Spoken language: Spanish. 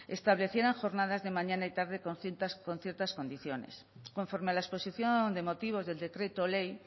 establecieran jornadas de mañana y tarde con ciertas condiciones conforme a la exposición de motivos del decreto ley